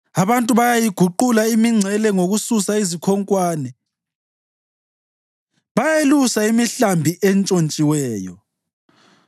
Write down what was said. Abantu bayayiguqula imingcele ngokususa izikhonkwane; bayayelusa imihlambi entshontshiweyo.